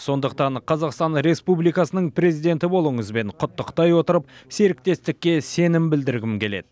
сондықтан қазақстан республикасының президенті болуыңызбен құттықтай отырып серіктестікке сенім білдіргім келеді